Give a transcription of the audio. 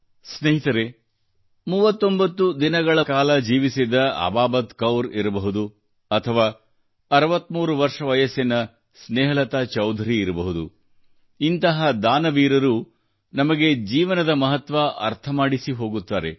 ಸ್ನೇಹಿತರೇ 39 ದಿನಗಳ ಕಾಲ ಜೀವಿಸಿದ್ದಅಬಾಬತ್ಕೌರ್ ಇರಬಹುದು ಅಥವಾ 63 ವರ್ಷ ವಯಸ್ಸಿನ ಸ್ನೇಹಲತಾಚೌಧರಿ ಇರಬಹುದು ಇಂತಹ ದಾನವೀರರು ನಮಗೆ ಜೀವನದ ಮಹತ್ವ ಅರ್ಥಮಾಡಿಸಿಹೋಗುತ್ತಾರೆ